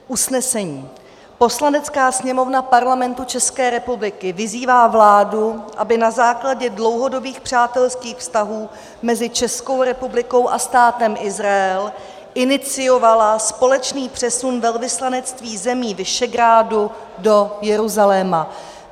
Usnesení: "Poslanecká sněmovna Parlamentu České republiky vyzývá vládu, aby na základě dlouhodobých přátelských vztahů mezi Českou republikou a Státem Izrael iniciovala společný přesun velvyslanectví zemí Visegrádu do Jeruzaléma."